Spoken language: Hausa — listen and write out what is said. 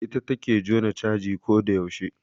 Ita take jona caji ko da yaushe